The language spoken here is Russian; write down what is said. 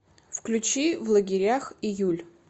включи в лагерях июль